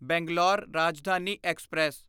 Bangalore Rajdhani express